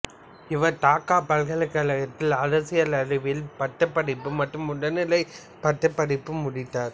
இவர் டாக்கா பல்கலைக்கழகத்தில் அரசியல் அறிவியலில் பட்டப்படிப்பு மற்றும் முதுகலை பட்டப்படிப்பை முடித்தார்